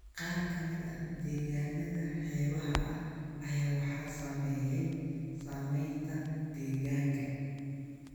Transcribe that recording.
Qaar ka mid ah deegaannada xeebaha ah ayaa waxaa saameeyay saameynta deegaanka